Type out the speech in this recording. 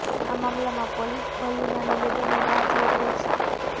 આ મામલામાં પોલીસ ભલ્લુના નિવેદનની રાહ જોઈ રહી છે